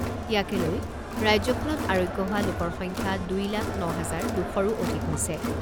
ইয়াকে লৈ ৰাজ্যখনত আৰোগ্য হোৱা লোকৰ সংখ্যা দুই লাখ ন হাজাৰ দুশৰো অধিক হৈছে।